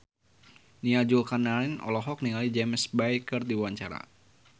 Nia Zulkarnaen olohok ningali James Bay keur diwawancara